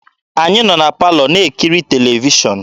Anyị nọ na palọ na-ekiri televishọn.